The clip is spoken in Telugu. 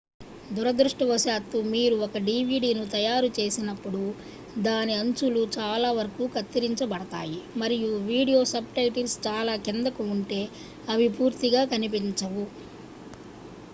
దురదృష్టవశాత్తు మీరు ఒక dvdను తయారుచేసినప్పుడు దాని అంచులు చాలావరకు కత్తిరించబడతాయి మరియు వీడియో సబ్‌టైటిల్స్ చాలా కిందకు ఉంటే అవి పూర్తిగా కనిపించవు